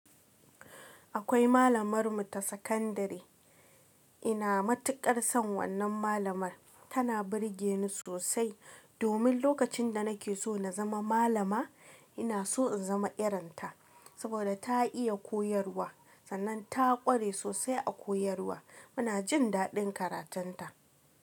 Akwai malamar mu ta sakandare ina matuƙar son wannan malamar. Tana burge ni sosai domin lokacin da nake so na zama malama, ina so in zama irin ta saboda ta iya koyarwa, sannan ta ƙware sosai a koyarwa. Muna jin daɗin karatun ta.